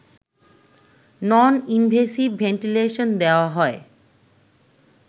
নন invasive ventilation দেওয়া হয়